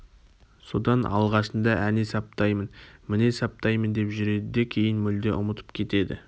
содан алғашында әне саптаймын міне саптаймын деп жүреді де кейін мүлде ұмытып кетеді